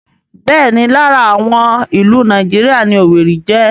Bẹ́ẹ̀ni lára àwọn ìlú Nàìjíríà ni Owerri jẹ́